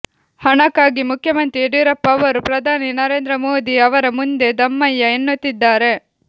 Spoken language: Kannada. ಹಣಕ್ಕಾಗಿ ಮುಖ್ಯಮಂತ್ರಿ ಯಡಿಯೂರಪ್ಪ ಅವರು ಪ್ರಧಾನಿ ನರೇಂದ್ರ ಮೋದಿ ಅವರ ಮುಂದೆ ದಮ್ಮಯ್ಯ ಎನ್ನುತ್ತಿದ್ದಾರೆ